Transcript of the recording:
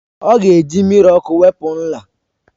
Ọ ga-eji mmiri ọkụ wepụ nla